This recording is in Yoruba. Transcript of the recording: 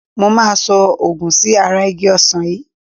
Mo máa so òògun sí ara igi Ọsán yìí.